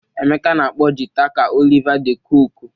Emeka na-akpọ jịta ka Oliver de Coque